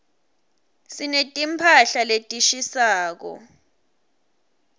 sineti mphahla letishisako